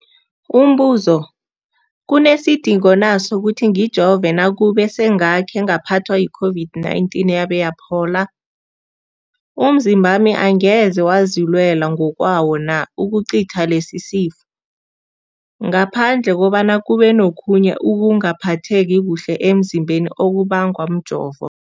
Umbuzo, kunesidingo na sokuthi ngijove nakube sengakhe ngaphathwa yi-COVID-19 yabe yaphola? Umzimbami angeze wazilwela ngokwawo na ukucitha lesisifo, ngaphandle kobana kube nokhunye ukungaphatheki kuhle emzimbeni okubangwa mjovo?